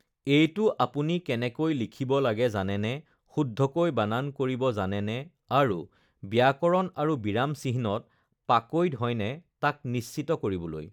এইটো আপুনি কেনেকৈ লিখিব লাগে জানেনে, শুদ্ধকৈ বানান কৰিব জানেনে আৰু ব্যাকৰণ আৰু বিৰাম চিহ্নত পাকৈত হয়নে তাক নিশ্চিত কৰিবলৈ!